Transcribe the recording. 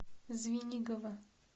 звенигово